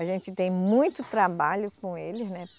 A gente tem muito trabalho com eles, né?